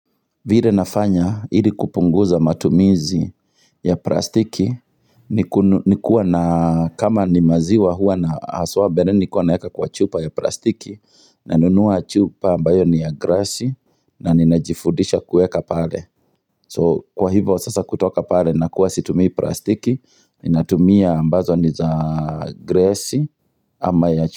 Vile nafanya ili kupunguza matumizi ya plastiki Nikuwa na kama ni maziwa huwa na haswa mbeleni nilikuwa naeka kwa chupa ya plastiki Nanunuwa chupa ambayo ni ya grasi na ninajifudisha kueka pale So kwa hivyo sasa kutoka pale nakuwa situmii plastiki Ninatumia ambazo ni za grassi ama ya chupa.